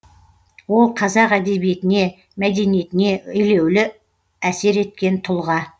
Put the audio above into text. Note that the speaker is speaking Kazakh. ол қазақ әдебиетіне мәдениетіне елеулі әсер еткен тұлға